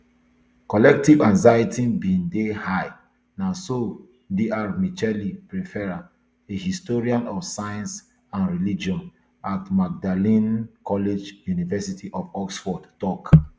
collective anxiety bin dey high na so dr michelle pfeffer a historian of science and religion at magdalen college university of oxford tok